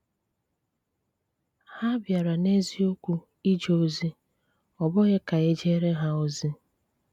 Há bìárà n’eziokwu ìje ozi, ọ̀ bụghị ka e jééré ha ozi.